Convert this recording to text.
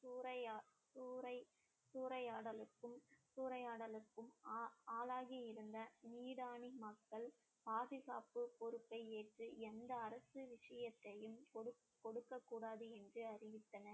சூறையா~ சூறை~ சூறையாடலுக்கும் சூறையாடலுக்கும் ஆ~ ஆளாகி இருந்த மக்கள் பாதுகாப்பு பொறுப்பை ஏற்று எந்த அரசு விஷயத்தையும் கொடுக்~ கொடுக்கக் கூடாது என்று அறிவித்தனர்